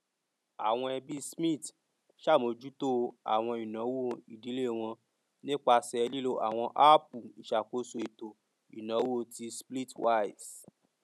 àwọn ẹbí smith ṣàmójútó àwọn ìnáwó ìdílé wọn nípasẹ lílò àwọn áàpù ìṣakóso ètò ìnáwó ti splitwise